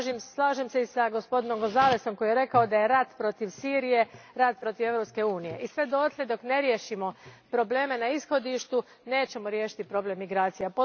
Slažem se i s gospodinom Gonzálesom koji je rekao da je rat protiv Sirije rat protiv Europske unije, i sve dok ne riješimo probleme na ishodištu, nećemo riješiti problem migracija.